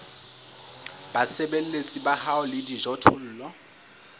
basebeletsi ba hao le dijothollo